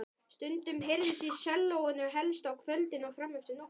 Stundum heyrðist í sellóinu, helst á kvöldin og frameftir nóttu.